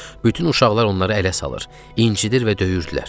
Bütün uşaqlar onları ələ salır, incidir və döyürdülər.